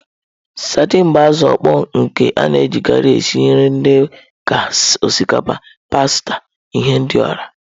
Sadin bụ azụ mkpọ nke a na-ejikarị esi nri dị ka osikapa, pasta, ihendori.